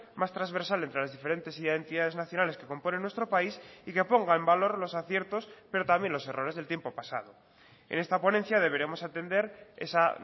más transversal entre las diferentes identidades nacionales que componen nuestro país y que ponga en valor los aciertos pero también los errores del tiempo pasado en esta ponencia deberemos atender esa